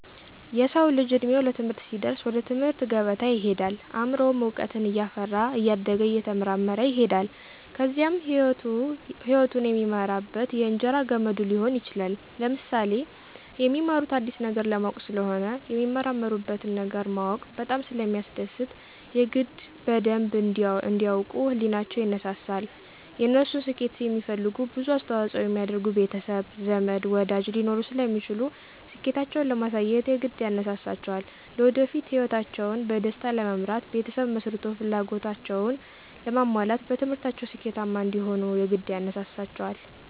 የሰዉ ልጅ እድሜዉ ለትምህርት ሲደርስ ወደ ትምህርት ገበታ ይሄዳል አምሮዉም እዉቀትን እያፈራ እያደገ እየተመራመረ ይሄዳል ከዚያም ህይወቱን የሚመራበት የእንጀራ ገመዱ ሊሆን ይችላል። ለምሳሌ፦ የሚማሩት አዲስ ነገር ለማወቅ ስለሆነ የሚመራመሩበትን ነገር ማወቅ በጣም ስለሚያስደስት የግድ በደንብ እንዲ ያዉቁ ህሊቸዉ ይነሳሳል፣ የነሱን ስኬት የሚፈልጉ ብዙ አስተዋፅኦ የሚያደርጉ ቤተሰብ፣ ዘመድ፣ ወዳጅ ሊኖሩ ስለሚችሉ ስኬታቸዉን ለማሳየት የግድ ያነሳሳቸዋልለወደፊት ህይወታቸዉን በደስታ ለመምራት ቤተሰብ መስርቶ ፍላጎታቸዉን ለማሟላት በትምህርታቸዉ ስኬታማ እንዲሆኑም የግድ ያነሳሳቸዋል።